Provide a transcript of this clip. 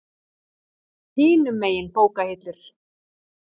Hinum megin bókahillur.